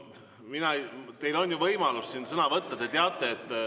Teil on ju võimalus siin sõna võtta.